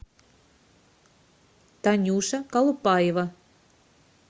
танюша колупаева